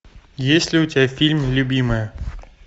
есть ли у тебя фильм любимая